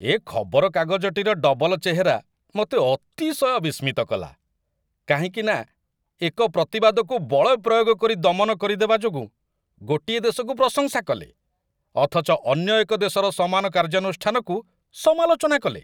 ଏ ଖବରକାଗଜଟିର ଡବଲ ଚେହେରା ମୋତେ ଅତିଶୟ ବିସ୍ମିତ କଲା, କାହିଁକି ନା, ଏକ ପ୍ରତିବାଦକୁ ବଳ ପ୍ରୟୋଗ କରି ଦମନ କରିଦେବା ଯୋଗୁଁ ଗୋଟିଏ ଦେଶକୁ ପ୍ରଶଂସା କଲେ, ଅଥଚ ଅନ୍ୟ ଏକ ଦେଶର ସମାନ କାର୍ଯ୍ୟାନୁଷ୍ଠାନକୁ ସମାଲୋଚନା କଲେ।